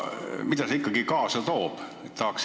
Mida see ikkagi kaasa toob?